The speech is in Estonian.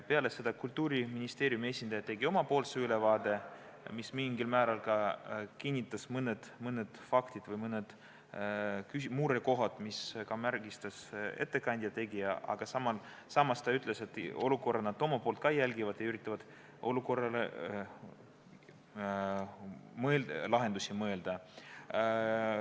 Peale seda Kultuuriministeeriumi esindaja tegi oma ülevaate, mis mingil määral kinnitas mõnda fakti või murekohta, mida ka ettekandja välja tõi, aga samas ta ütles, et olukorda nad ka jälgivad ja üritavad lahendusi mõelda.